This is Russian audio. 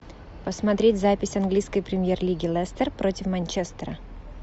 посмотреть запись английской премьер лиги лестер против манчестера